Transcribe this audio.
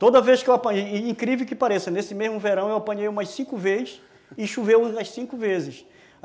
Toda vez que eu apanhei, incrível que pareça, nesse mesmo verão eu apanhei umas cinco vezes e choveu umas cinco vezes.